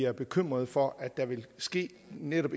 er bekymrede for at der vil ske netop